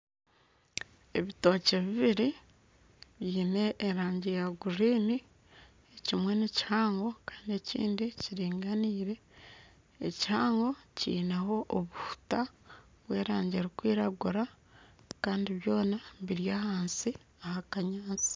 Ebitookye bibiri biine erangi ya guriini, ekimwe nikihango kandi ekindi kiringaniire, ekihango kineho obuhuta bw'erangi erikwiragura kandi byona biri ahansi aha kanyaatsi